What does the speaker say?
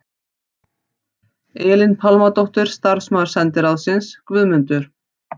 Elín Pálmadóttir starfsmaður sendiráðsins, Guðmundur